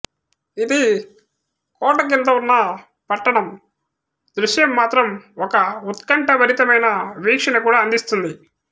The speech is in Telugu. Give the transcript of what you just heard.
ఇది కోట క్రింద ఉన్న పట్టణం దృశ్యం మాత్రం ఒక ఉత్కంఠభరితమైన వీక్షణ కూడా అందిస్తుంది